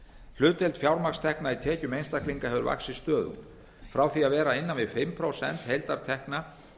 hlutdeild fjármagnstekna í tekjum einstaklinga hefur vaxið stöðugt frá því að vera innan við fimm prósent heildartekna